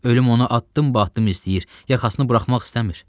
Ölüm onu addım-addım istəyir, yaxasını buraxmaq istəmir.